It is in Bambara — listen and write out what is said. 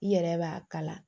I yɛrɛ b'a kala